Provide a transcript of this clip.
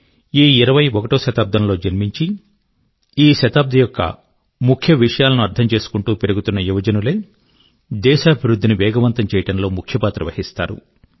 ఈ ఇరవై ఒకటో శతాబ్దం లో జన్మించి ఈ శతాబ్ది యొక్క ముఖ్య విషయాలను అర్థం చేసుకుంటూ పెరుగుతున్న యువజనులే దేశాభివృద్ధి ని వేగవంతం చేయడం లో ముఖ్య పాత్ర వహిస్తారు